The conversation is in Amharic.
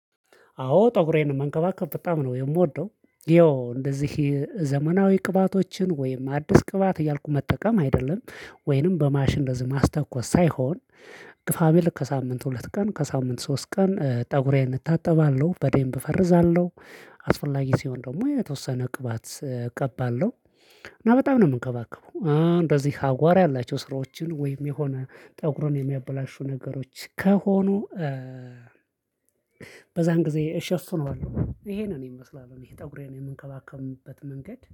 አዎ ጠጉሬን መንከባከብ በጣም ነው የምወደው። ይኸው እንደዚህ ዘመናዊ ቅባቶችን ወይም አዲስ ቅባት እያልኩ መጠቀም አይደለም ወይንም በማሽን እንደዚህ ማስተኮስ ሳይሆን። ግፋቢል ከሳምንት ሁለት ቀን ከሳምንት ሶስት ቀን ፀጉሬን እታጠባለሁ በደንብ እፈርዛለሁ። አስፈላጊ ሲሆን ደግሞ የተወሰነ ቅባት እቀባለሁ። እና በጣም ነው የምንከባከበው እንደዚህ አቧራ ያላቸው ስራዎችን ወይም የሆነ ፀጉሩን የሚያበላሹ ነገሮች ከሆኑ በዛን ጊዜ እሸፍነዋለሁ። ይሄንን ይመስላል እኔ ፀጉሬን የምንከባከብበት መንገድ